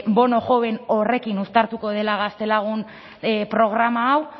bono joven horrekin uztartuko dela gaztelagun programa hau